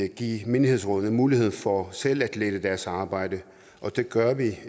give menighedsrådene mulighed for selv at lette deres arbejde og det gør vi